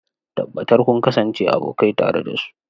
Tabbatar kun kasance abokai tare da su.